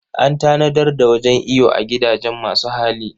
An tanadar da wajen iyo a gidajen masu hali.